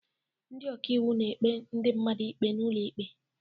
Ndị ọka iwu na-ekpe ndị mmadụ ikpe n'ụlọ ikpe.